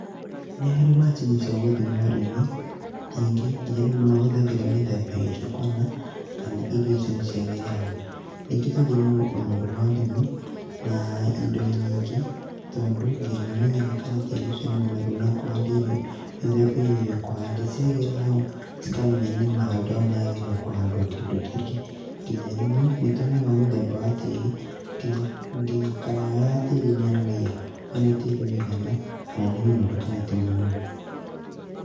Ni harĩ macini cia gũthima ũrĩmi, ningi nginya andũ ni mahũthagĩra mĩthemba ĩngĩ kuona, kana irio icio no ciagĩre hau. Ningĩ tũthimaga ũnoru wa ũrimi na indo nyingĩ tondũ nĩ ũmenyaga kana tĩri ũcio nĩ mũnoru na kũhanda irio mĩthemba ĩrĩa ũkũhanda. Ciagĩra hau ukamenya nĩma handũ hau nĩ hagĩrĩire kũhandwo kĩndũ kingĩ, nginya rĩmwe ni tuonaga mũthemba wa tĩri, nginya colour ĩyo ya tiri nĩ yonanagia ũrĩa tĩri wigana kana ni mũnoru kana ti munoru.